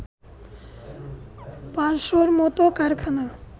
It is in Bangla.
পাঁচশর মত কারখানা